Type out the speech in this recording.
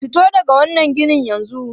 Fito daga wannan ginin yanzu!